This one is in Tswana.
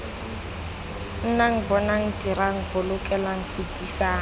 nnang bonang dirang bolokelang fetisang